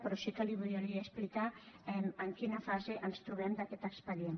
però sí que li volia explicar en quina fase ens trobem d’aquest expedient